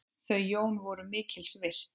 Þau Jón voru mikils virt.